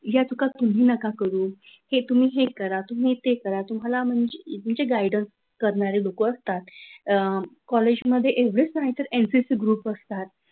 या चुका तुम्ही नका करू हे तुम्ही हे करा तुम्ही ते करा तुम्हाला म्हणजे गाईडन्स करणारी लोक असतात कॉलेजमध्ये एवढेच नाही तर एमपीएससी ग्रुप असतात.